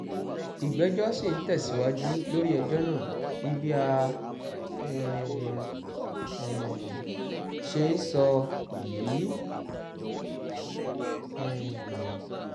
ìgbẹ́jọ́ sì ń tẹ̀síwájú lórí ẹjọ́ náà di bá a um ṣe ń sọ yìí um